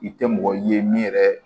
I tɛ mɔgɔ ye min yɛrɛ